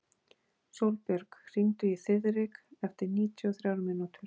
Sólbjörg, hringdu í Þiðrik eftir níutíu og þrjár mínútur.